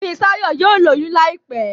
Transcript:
Fisayo yíò lóyún láìpé